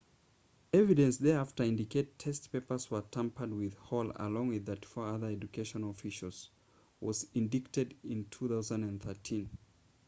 evidence thereafter indicated test papers were tampered with hall along with 34 other education officials was indicted in 2013